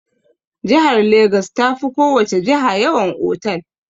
Jihar Legas ta fi ko wace jiha yawan otal.